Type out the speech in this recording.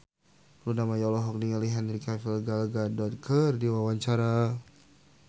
Luna Maya olohok ningali Henry Cavill Gal Gadot keur diwawancara